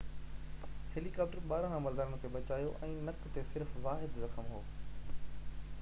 هيليڪاپٽرن ٻارنهن عملدارن کي بچايو ۽ نڪ تي صرف واحد زخم هو